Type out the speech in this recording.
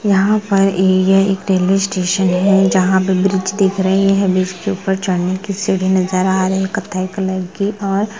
यहाँ पर ये एक रेल्वे स्टेशन है जहां पर ब्रिज दिख रही है ब्रिज के उपेर चलने कि सीढ़ी नजर आ रही है कत्थे कलर कि और --